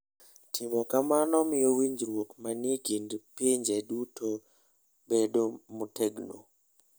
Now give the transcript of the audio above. Timo kamano miyo winjruok manie kind pinje duto bedo motegno.